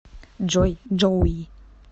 джой джоуи